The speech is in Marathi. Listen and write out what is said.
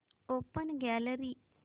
open gallery